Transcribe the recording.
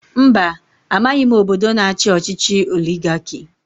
Mba amaghị obodo na-achi ọchịchị oligarki.